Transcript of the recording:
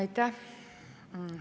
Aitäh!